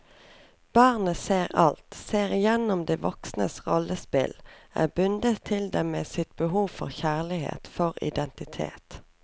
Barnet ser alt, ser igjennom de voksnes rollespill, er bundet til dem med sitt behov for kjærlighet, for identitet.